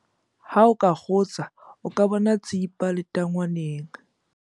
ha o ka kgutsa o ka bona tsipa letangwaneng